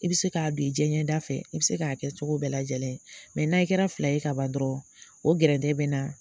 I be se k'a don i jɛɲɛ da fɛ, i be se k'a kɛ cogo bɛɛ lajɛlen n'ayi kɛra fila ye ka ban dɔrɔn, o gɛrɛntɛ bɛ naɛ.